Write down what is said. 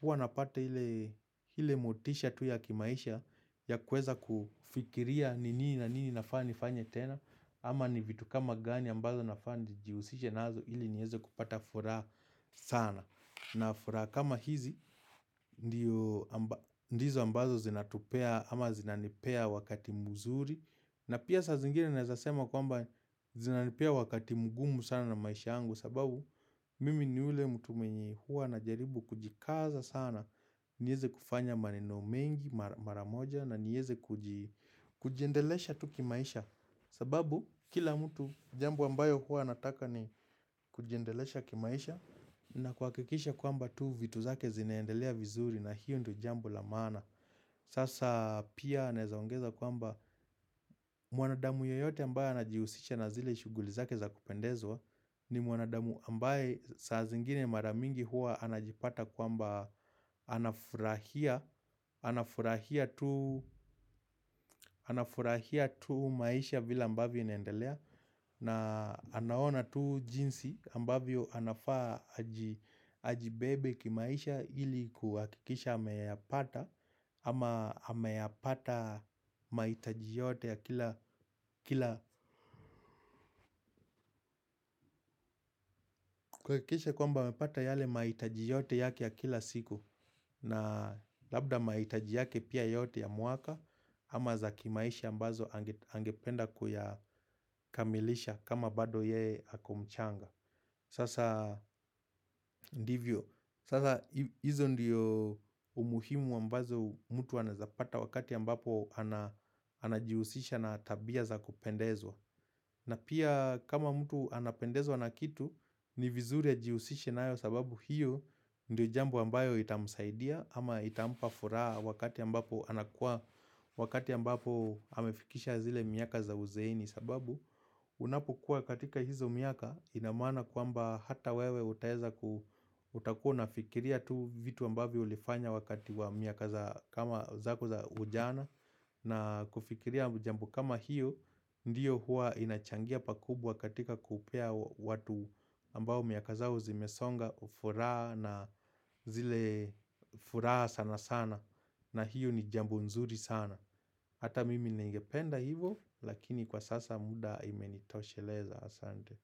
huwa napata ile ile motisha tu ya kimaisha ya kuweza kufikiria nini na nini nafaa nifanye tena ama ni vitu kama gani ambazo nafaa nijihusishe nazo ili nieze kupata furaha sana na furaha kama hizi ndizo ambazo zinatupea ama zinanipea wakati mzuri na pia saa zingine naweza sema kwamba zinanipea wakati mgumu sana na maisha yangu sababu mimi ni ule mtu mwenye huwa na jaribu kujikaza sana nieze kufanya maneno mengi maramoja na nieze kujiendelesha tu kimaisha sababu kila mtu jambo ambayo huwa anataka ni kujiendelesha kimaisha na kuhakikisha kwamba tu vitu zake zinaendelea vizuri na hiyo ndo jambo la maana Sasa pia naeza ongeza kwamba mwanadamu yeyote ambaye anajihusisha na zile shughuli zake za kupendezwa ni mwanadamu ambaye saa zingine maramingi huwa anajipata kwamba anafurahia anafurahia tu maisha vile ambavyo inaendelea na anaona tu jinsi ambavyo anafaa ajibebe kimaisha ili kuhakikisha ameyapata ama ameyapata mahitaji yote ya kila kila kuhakisha kwamba amepata yale mahitaji yote yake ya kila siku na labda mahitaji yake pia yote ya mwaka ama za kimaisha ambazo angependa kuyakamilisha kama bado yeye ako mchanga Sasa ndivyo, sasa hizo ndiyo umuhimu ambazo mtu anawezapata wakati ambapo anajihusisha na tabia za kupendezwa na pia kama mtu anapendezwa na kitu, ni vizuri ajihusishe nayo sababu hiyo ndiyo jambo ambayo itamsaidia ama itampafuraha wakati ambapo anakuwa wakati ambapo amefikisha zile miaka za uzeeni sababu unapokuwa katika hizo miaka inamaana kwamba hata wewe utaeza ku utakuwa una fikiria tu vitu ambavyo ulifanya wakati wa miaka za kama za ujana na kufikiria jambo kama hiyo ndiyo huwa inachangia pakubwa katika kupea watu ambao miaka zao zimesonga ufuraha na zile furaha sana sana na hiyo ni jambo nzuri sana Hata mimi ningependa hivo Lakini kwa sasa muda imenitosheleza Asante.